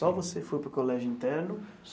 Só você foi para o colégio interno?